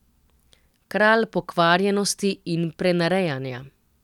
Kralj pokvarjenosti in prenarejanja.